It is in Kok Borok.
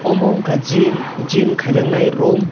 omo unkka gym gym khaijaknai room.